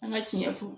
An ka tiɲɛ fɔ